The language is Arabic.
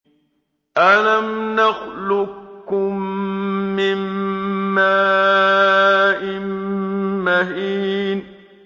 أَلَمْ نَخْلُقكُّم مِّن مَّاءٍ مَّهِينٍ